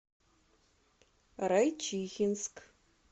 райчихинск